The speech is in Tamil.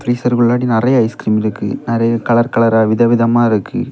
ஃப்ரீஸர் குள்ளாடி நெறைய ஐஸ்கிரீம் இருக்கு. நிறைய கலர் கலரா விதவிதமா இருக்கு.